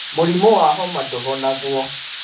Mũrimũ wa homa ndũhonagwo.